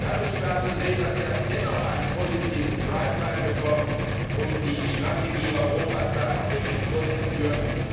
Da müssen wir also sehen, dass wir dennoch einen positiven drive hineinbekommen, um die Strategie Europas da auch wirklich vorzuführen.